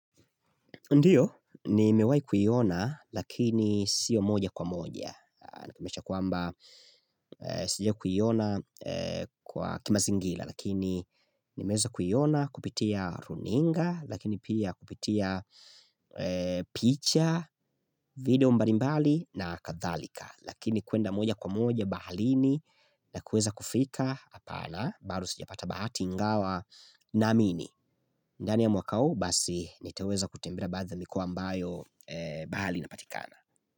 Ndio, nimewahi kuiona, lakini sio moja kwa moja. Kwamba, sijawahi kuiona kwa kimazingira, lakini nimeweza kuiona kupitia runinga, lakini pia kupitia picha, video mbalimbali na kathalika. Lakini kuenda moja kwa moja, baharini, na kuweza kufika, hapana, bado sijapata bahati, ingawa, naamini. Ndani ya mwaka hii basi niteweza kutembea baadhi ya mikoa ambayo bahari inapatikana.